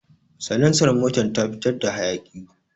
Salansar motar na fitar da hayaki